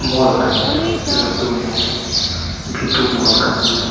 ᱢᱚᱞ ᱠᱟᱱ ᱜᱤᱭᱟ ᱞᱟᱴᱩ ᱢᱚᱞ ᱵᱷᱤ᱒ ᱢᱚᱞ ᱠᱟᱱ ᱜᱤᱭᱟ᱾